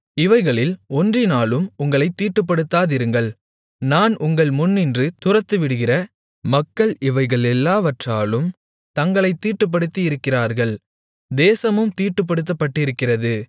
இவைகளில் ஒன்றினாலும் உங்களைத் தீட்டுப்படுத்தாதிருங்கள் நான் உங்கள் முன்னின்று துரத்திவிடுகிற மக்கள் இவைகளெல்லாவற்றாலும் தங்களைத் தீட்டுப்படுத்தியிருக்கிறார்கள் தேசமும் தீட்டுப்படுத்தப்பட்டிருக்கிறது